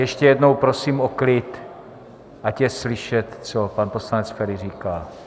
Ještě jednou prosím o klid, ať je slyšet, co pan poslanec Feri říká.